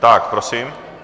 Tak prosím.